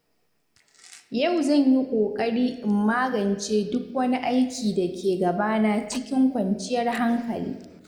Yau zan yi kokari in magance duk wani aiki da ke gabana cikin kwanciyar hankali.